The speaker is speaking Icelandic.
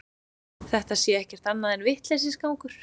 Þetta sé ekkert annað en vitleysisgangur